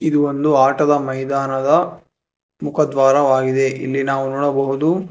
ಇದು ಒಂದು ಆಟದ ಮೈದಾನದ ಮುಖದ್ವಾರವಾಗಿದೆ ಇಲ್ಲಿ ನಾವು ನೋಡಬಹುದು--